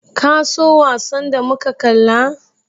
Ka so wasan da muka kalla?